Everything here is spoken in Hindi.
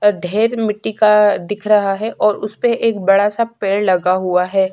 अ ढेर मिट्टी का दिख रहा है और उसपे एक बड़ा-सा पेड़ लगा हुआ है।